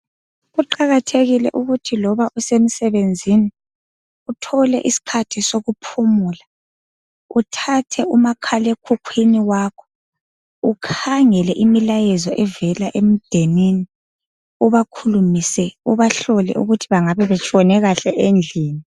Kuqakathekile ukuthi loba usemsebenzini uthole isikhathi sokuphumula uthathe umakhalekhukhwini wakho ukhangele imilayezo evela endenini, ubakhulumise, ubahlole ukuthi bangabe betshone kahle endlini.